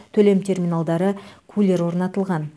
төлем терминалдары кулер орнатылған